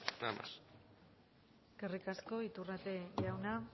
nada más eskerrik asko iturrate jauna